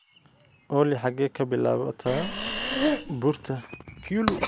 olly xagee ka bilaabataa buurta kyulu?